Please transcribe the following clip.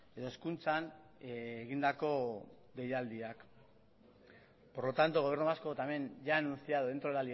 edo hezkuntzan egindako deialdiak por lo tanto el gobierno vasco también ya ha anunciado dentro de